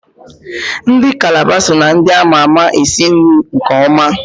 Ndị Kalaba so na ndị ama ma esi nri nke ọma.